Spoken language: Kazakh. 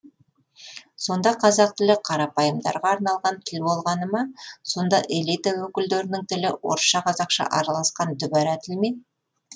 сонда қазақ тілі қарапайымдарға арналған тіл болғаны ма сонда элита өкілдерінің тілі орысша қазақша араласқан дүбара тіл ме